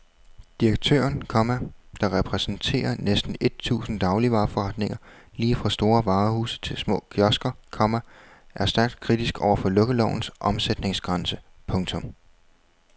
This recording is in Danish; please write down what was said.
Direktøren, komma der repræsenterer næsten et tusind dagligvareforretninger lige fra store varehuse til små kiosker, komma er stærkt kritisk over for lukkelovens omsætningsgrænse. punktum